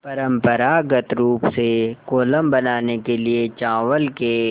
परम्परागत रूप से कोलम बनाने के लिए चावल के